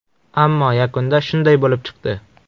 Ammo yakunda shunday bo‘lib chiqdi.